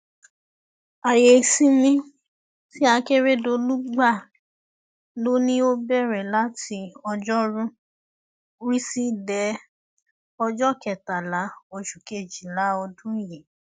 ààyè ìsinmi tí akérèdọlù gbà lọ ni ó bẹrẹ láti ọjọrùú wíṣídẹẹ ọjọ kẹtàlá oṣù kejìlá ọdún yìí